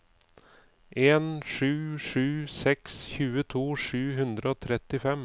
en sju sju seks tjueto sju hundre og trettifem